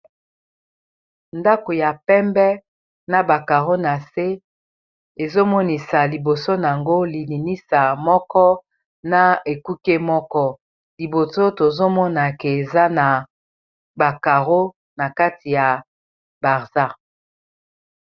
Ndako ya pembe na ba caro na se ezomonisa liboso nango lilinisa moko na ekuke moko liboso tozomona que eza na ba caro na kati ya barza.